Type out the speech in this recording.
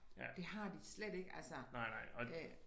Det har de slet ikke altså det